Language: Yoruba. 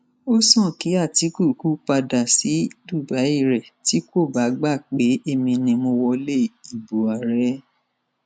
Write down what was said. ó sàn kí àtikukù padà sí dubai rẹ tí kò bá gbà pé èmi ni mo wọlé ìbò ààrẹ